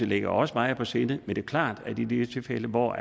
ligger også mig på sinde men det er klart at i de tilfælde hvor